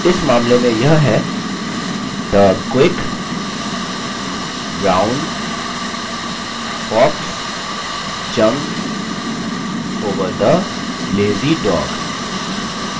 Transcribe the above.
इस मामले में यह है the quick brown fox jumps over the lazy dog